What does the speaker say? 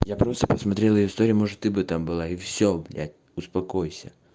я просто посмотрел её историю может ты бы там была и все блять успокойся